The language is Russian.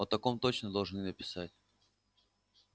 о таком точно должны написать